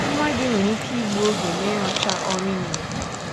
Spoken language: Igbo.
Nwa gị nwere ike igbu oge n’ịrụcha ọrụ i nyere ya.